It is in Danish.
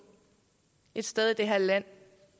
et sted i det her land